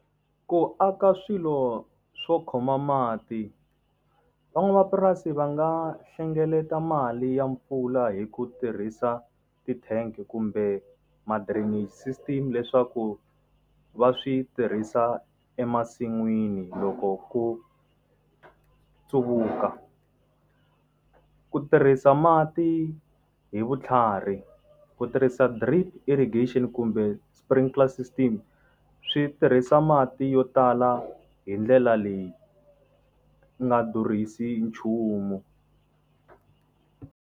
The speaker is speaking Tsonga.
Ku aka swilo swo khoma mati. Van'wamapurasi va nga hlengeleta mali ya mpfula hi ku tirhisa ti-tank kumbe ma-drainage system leswaku va swi tirhisa emasin'wini loko ku . Ku tirhisa mati hi vutlhari, ku tirhisa drip irrigation kumbe sprinkler system, swi tirhisa mati yo tala hi ndlela leyi nga durhisi hi nchumu.